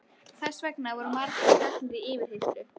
Þess vegna voru margir teknir í yfirheyrslu.